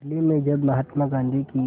दिल्ली में जब महात्मा गांधी की